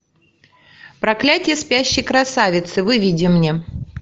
проклятие спящей красавицы выведи мне